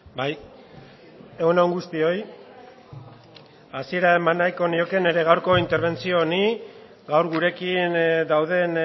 bai egun on guztioi hasiera eman nahiko nioke nire gaurko interbentzio honi gaur gurekin dauden